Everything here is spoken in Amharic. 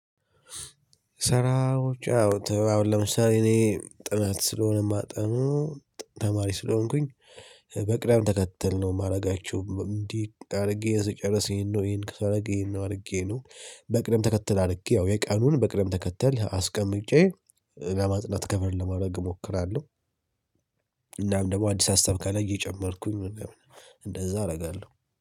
ሰራው ጫው አሁን ለምሳሌ እኔ ጥናት ስለሆነ የማጠኑ ተማሪ ስለሆንኩኝ በቅዳም ተከተል ነው የማረጋችሁ። እንዲህ አሪጌ የሰጨረስ ይሄን ነው ይሄን ከሰረቅ ይሄን ነው ነው በቅደም ተከተል አድርጌ ያው የቀኑን በቅደም ተከተል አስቀምጬ ለማጽናት ከቨር ለማድረግ እሞክራለው። እናም ደግሞ አዲስ ሀሳብ ካላይ እየጨመርኩኝ ምንም አይሆንም እንደዛ አረጋለው።